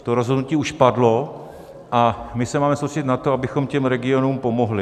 To rozhodnutí už padlo a my se máme soustředit na to, abychom těm regionům pomohli.